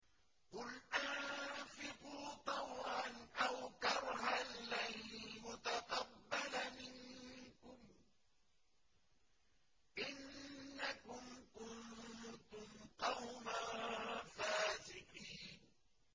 قُلْ أَنفِقُوا طَوْعًا أَوْ كَرْهًا لَّن يُتَقَبَّلَ مِنكُمْ ۖ إِنَّكُمْ كُنتُمْ قَوْمًا فَاسِقِينَ